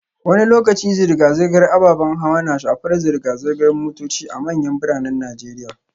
Wani lokaci zirga-zirgar ababen hawa na shafar zirga-zirgar motoci a manyan biranen Najeriya